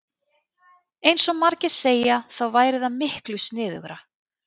Eins og margir segja þá væri það miklu sniðugra.